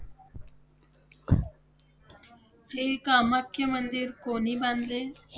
हे कामाख्या मंदिर कोणी बांधले?